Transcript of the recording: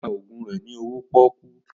Ó ta ògùn rẹ ní owó pọ́kú